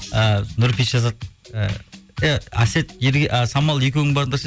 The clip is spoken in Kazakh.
і нұрпейіс жазады і ей әсет а самал екеуің барыңдар